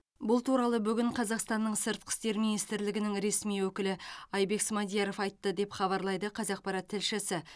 бұл туралы бүгін қазақстанның сыртқы істер министрлігінің ресми өкілі айбек смадияров айтты деп хабарлайды қазақпарат тілшісі